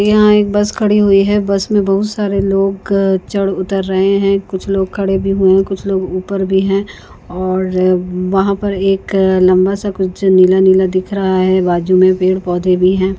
यहाँ एक बस खड़ी हुई है बस में बहुत सारे लोग चढ ऊतर रहे है कुछ लोग खड़े भी हुए है कुछ लोग ऊपर भी है और वहा पर एक अ लंबा सा कुछ नीला नीला दिख रहा है बाजू में पेड़ पौधे भी है।